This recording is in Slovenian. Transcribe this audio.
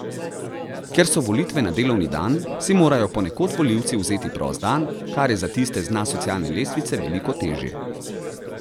Ker so volitve na delovni dan, si morajo ponekod volivci vzeti prost dan, kar je za tiste z dna socialne lestvice veliko težje.